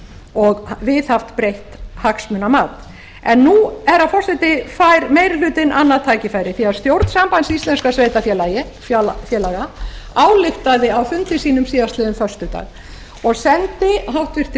og viðhaft breitt hagsmunamat nú herra forseti fær meiri hlutinn annað tækifæri því stjórn sambands íslenskum sveitarfélaga ályktaði á fundi sínum síðastliðinn föstudag og sendi háttvirtur